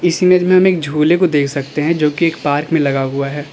इस इमेज में हम एक झूले को देख सकते हैं जो कि एक पार्क में लगा हुआ है।